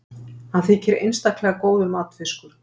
Hann þykir einstaklega góður matfiskur.